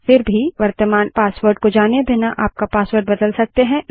फिर भी वर्तमान पासवर्ड को जाने बिना आप पासवर्ड बदल सकते हैं